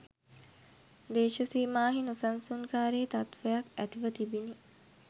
දේශසීමාහි නොසන්සුන්කාරී තත්ත්වයක් ඇතිව තිබිණි